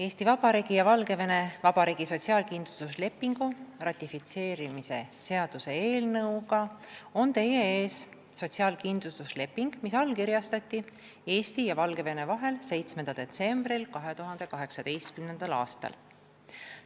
Eesti Vabariigi ja Valgevene Vabariigi sotsiaalkindlustuslepingu ratifitseerimise seaduse eelnõuga on teie ees sotsiaalkindlustusleping, mis allkirjastati Eesti ja Valgevene vahel 7. detsembril 2018. aastal.